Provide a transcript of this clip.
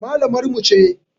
Mallamar mu ce.